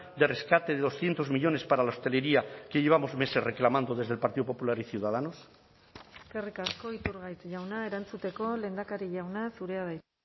de rescate de doscientos millónes para la hostelería que llevamos meses reclamando desde el partido popular y ciudadanos eskerrik asko iturgaiz jauna erantzuteko lehendakari jauna zurea da hitza